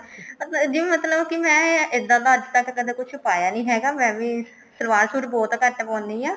ਪਰ ਜਿਵੇਂ ਮਤਲਬ ਕਿ ਮੈਂ ਇੱਦਾਂ ਦਾ ਅੱਜ ਤੱਕ ਕੁੱਛ ਪਾਇਆ ਨੀ ਹੈਗਾ ਮੈਂ ਵੀ ਸਲਵਾਰ suit ਬਹੁਤ ਘੱਟ ਪਾਉਂਦੀ ਹਾਂ